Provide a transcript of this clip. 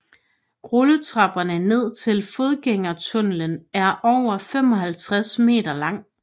Rulletrapperne ned til fodgængertunnelen er over 55 meter lang